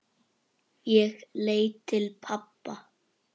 Ég leit til pabba.